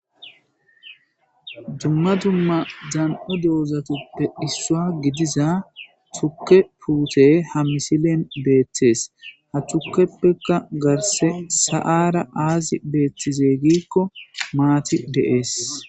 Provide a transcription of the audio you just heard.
Dumma dumma dan7o dewozatuppe dhissua gidiza tuke puute ha misilen beettees ha thukkeppekka garse sa7ara aazi beeththize gikko maati deees.